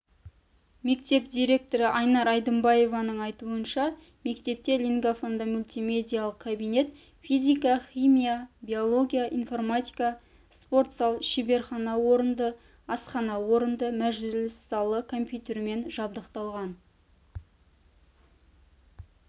мектеп директоры анар айдымбаеваның айтуынша мектепте лингафонды-мультимедиялық кабинет физика химия биология информатика спортзал шеберхана орынды асхана орынды мәжіліс залы компьютермен жабдықталған